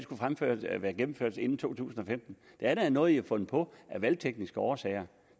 at være gennemført inden to tusind og femten det er da noget man har fundet på af valgtekniske årsager